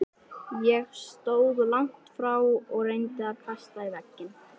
Ég stóð langt frá og reyndi að kasta í vegginn.